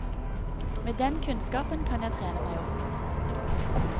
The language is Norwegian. Med den kunnskapen kan jeg trene meg opp.